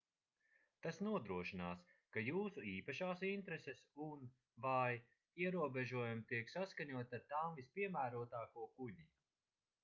tas nodrošinās ka jūsu īpašās intereses un/vai ierobežojumi tiek saskaņoti ar tām vispiemērotāko kuģi